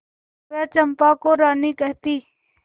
वह चंपा को रानी कहती